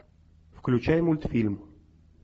включай мультфильм